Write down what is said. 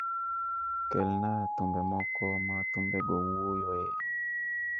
kelna thumbe moko ma thumbego wuoyoe.